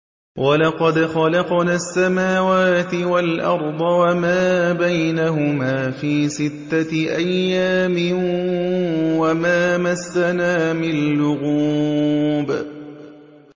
وَلَقَدْ خَلَقْنَا السَّمَاوَاتِ وَالْأَرْضَ وَمَا بَيْنَهُمَا فِي سِتَّةِ أَيَّامٍ وَمَا مَسَّنَا مِن لُّغُوبٍ